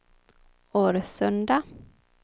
Årsunda